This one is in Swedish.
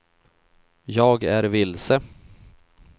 jag är vilse